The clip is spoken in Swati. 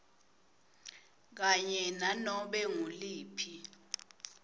kanye nanobe nguliphi